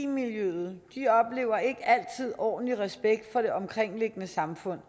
miljøet oplever ikke altid ordentlig respekt fra det omkringliggende samfund